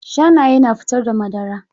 Shanaye na fitar da madara.